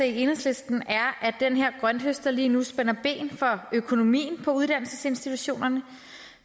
i enhedslisten er at den her grønthøster lige nu spænder ben for økonomien på uddannelsesinstitutionerne